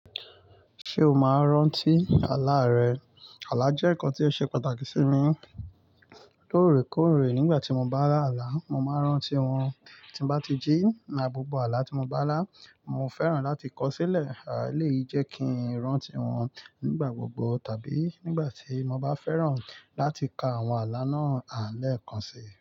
Ṣé o máa n rántí àlá rẹ? Àlá jẹ́ nǹkan tí ó ṣe pàtàkì sí mi. Lórèkórè nígbà tí mo bá lá àlá, mo máa rántí wọn. Tí n bá ti jí ma gbogbo àlá tí mo bá lá, mo fẹ́ràn láti kọ̀ sílẹ̀. À eleyii jẹ kí n rántí wọn nígbà gbogbo tàbí nígbà tí mo bá fẹ́ràn láti ka àwọn àlá náà lẹ́ẹ̀kan si.